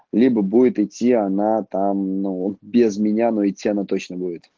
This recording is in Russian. либо будет идти она там ну без меня но идти она точно будет